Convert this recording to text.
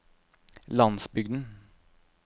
landsbygden